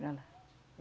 Para lá.